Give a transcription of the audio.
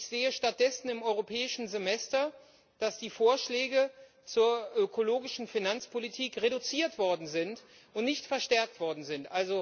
Ich sehe stattdessen im europäischen Semester, dass die Vorschläge zur ökologischen Finanzpolitik reduziert und nicht verstärkt worden sind.